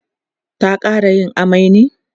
ta ƙara yin amai ne?